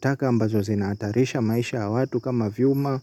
Taka ambazo zinaatarisha maisha ya watu kama vyuma